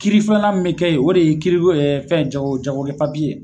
Kiri filanan min bɛ kɛ yen, o de ye kiri ko ye fɛn jago jagokɛ papiye.